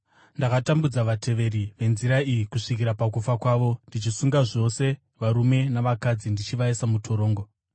Ndakatambudza vateveri veNzira iyi kusvikira pakufa kwavo, ndichisunga zvose varume navakadzi ndichivaisa mutorongo,